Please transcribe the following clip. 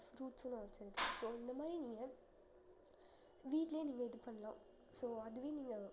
fruits லாம் வச்சிருக்கேன் so இந்த மாதிரி நீங்க வீட்லயும் நீங்க இது பண்ணலாம் so அதுவே நீங்க